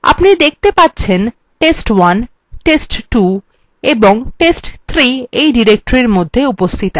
আপনি দেখতে পাচ্ছেন test1 test2 এবং test3 এই directory মধ্যে উপস্থিত আছে